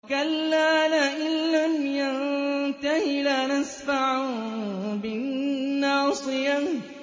كَلَّا لَئِن لَّمْ يَنتَهِ لَنَسْفَعًا بِالنَّاصِيَةِ